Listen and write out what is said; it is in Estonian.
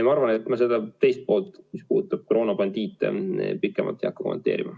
Ma arvan, et ma küsimuse teist poolt, mis puudutas koroonabandiite, ei hakka kommenteerima.